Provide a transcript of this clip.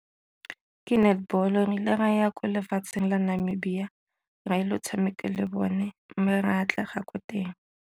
Ke netball-o re ile ra ya ko lefatsheng la Namibia go tshameka le bone mme re atlega ko teng.